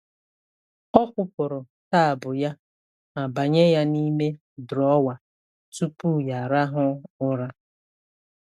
Ọ kwụpụrụ taabụ ya ma banye ya n’ime drọwa tupu ya arahụ ụra.